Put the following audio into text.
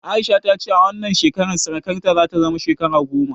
A'isha ta ce a wannan watan sarƙarta za ta cika shekara goma